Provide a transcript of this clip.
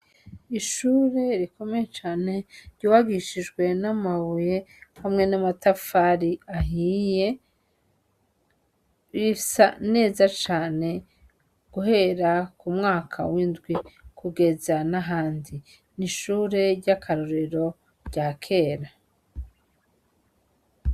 Ishure rikomeye cane, ryubakishijwe n'amabuye hamwe n'amatafari ahiye, risa neza cane guhera k'umwaka w'indwi, kugeza n'ahandi. N'ishure ry'akarorero rya kera.